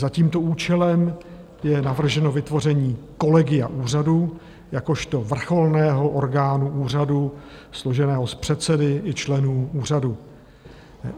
Za tímto účelem je navrženo vytvoření Kolegia úřadu jakožto vrcholného orgánu úřadu složeného z předsedy i členů úřadu.